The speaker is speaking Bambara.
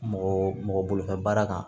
Mɔgɔ mɔgɔ bolo baara kan